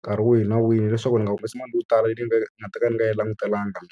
nkarhi wihi na wihi. Leswaku ndzi nga humesi mali yo tala leyi nga ta ka ni nga yi langutelangi.